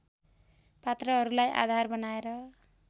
पात्रहरूलाई आधार बनाएर